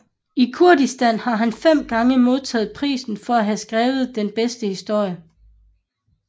I Kurdistan har han fem gange modtaget priser for at have skrevet den bedste historie